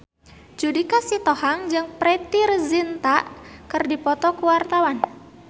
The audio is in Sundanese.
Judika Sitohang jeung Preity Zinta keur dipoto ku wartawan